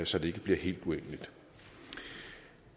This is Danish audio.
så det ikke bliver helt urimeligt